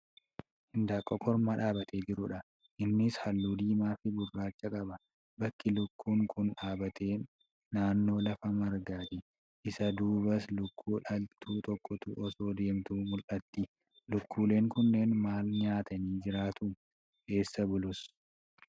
Hindaanqoo kormaa dhaabbatee jirudha. Innis haalluu diimaafi gurraacha qaba. Bakki lukkuun kun dhaabate naannoo lafa margaati. Isa duubas lukkuu dhaltuu tokkotu osoo deemtu mul'atti. Lukkuuleen kunneen maal nyaatanii jiraatu? Essa bulus?